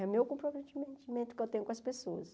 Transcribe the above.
É o meu comprometimento mento que eu tenho com as pessoas.